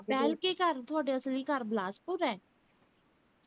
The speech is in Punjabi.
ਬੇਹਲਕੇ ਘਰ ਤੁਹਾਡਾ ਅਸਲੀ ਘਰ ਬਿਲਾਸਪੁਰ ਹੈ